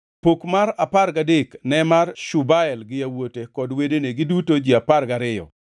Pok mar apar gadek ne mar Shubael gi yawuote kod wedene, giduto ji apar gariyo,